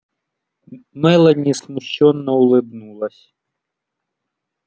мелани смущённо улыбнулась